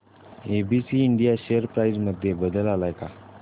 ABC India share price मध्ये बदल आलाय का